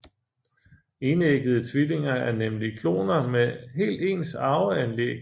Enæggede tvillinger er nemlig kloner med helt ens arveanlæg